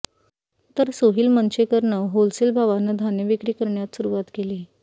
तर सोहिल मंचेकरनं होलसेल भावानं धान्यविक्री करण्यास सुरुवात केली